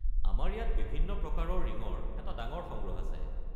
আমাৰ ইয়াত বিভিন্ন প্ৰকাৰৰ ৰিঙৰ এটা ডাঙৰ সংগ্ৰহ আছে।